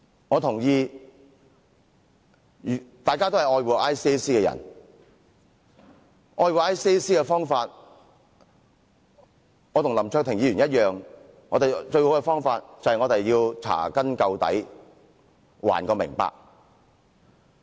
我認同大家都是愛護 ICAC 的人，而愛護 ICAC 的方法，跟林卓廷議員一樣，我認為最佳方法便是查根究底，得個明白。